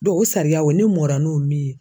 o sariyaw ne mɔra n'o min ye